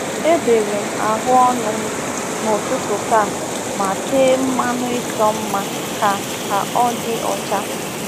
Ebere m ahu onu m n'ụtụtụ taa ma tee mmanụ ịchọ mma ka ka ọ dị ọcha.